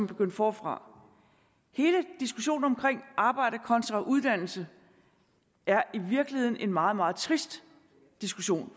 begynde forfra hele diskussionen om arbejde kontra uddannelse er i virkeligheden en meget meget trist diskussion